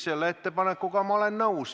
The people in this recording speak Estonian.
Selle ettepanekuga ma olen nõus.